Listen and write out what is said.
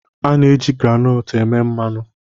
A na-eji groundnut eme mmanụ